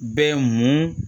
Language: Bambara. Bɛ mun